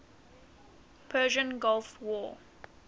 persian gulf war